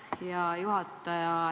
Aitäh, hea juhataja!